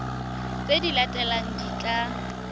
tse di latelang di tla